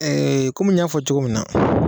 Ee kɔmi n y'a fɔ cogo min na